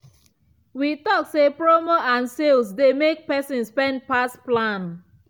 we talk say promo and sales dey make person spend pass plan.